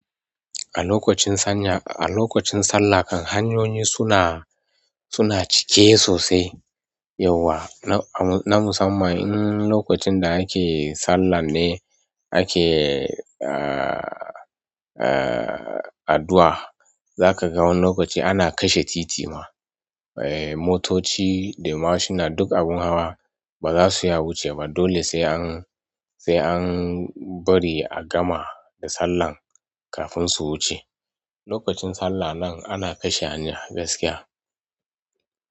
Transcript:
A lokacin sallah kam hanyoyi suna cike. Yauwa na musamman in lokacin da ake sallah ne ake, ah, ah, addu'a. Za ka ga wani lokaci ana kashe titi ma. Eh, motoci da mashina, duk abin hawa ba za su iya wuce ba. Dole sai an, sai an bari a gama da sallah kafin su wuce. Lokacin sallah nan ana kashe hanya gaskiya.